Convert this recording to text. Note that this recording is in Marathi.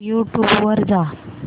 यूट्यूब वर जा